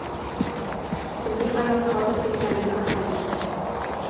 ismli ayol sodir etganligi aniqlandi.